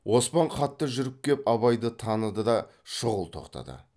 оспан қатты жүріп кеп абайды таныды да шұғыл тоқтады